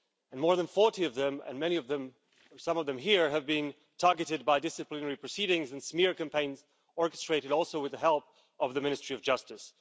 And more than 40 of them and some of them here have been targeted by disciplinary proceedings and smear campaigns orchestrated also with the help of the Ministry of Justice.